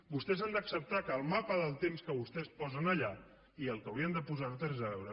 vostès han d’acceptar que el mapa del temps que vostès posen allà i el que haurien de posar no té res a veure